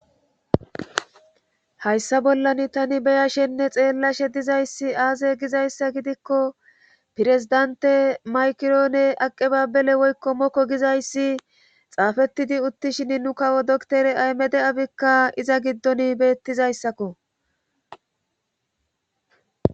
hayssa bollan tani beyashenne xeellashe dizayssi aaze gizayssa gidikko pirezdante maykiroone aqebabele woykko mokko gizayssi xaafettidi uttishin nu kawo doktere aymede7abikka iza giddon beettizayssakko